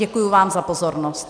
Děkuji vám za pozornost.